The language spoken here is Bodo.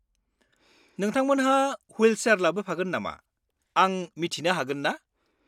-नोंथांमोनहा विलसेयार लाबोफागोन नामा आं मिथिनो हागोन ना?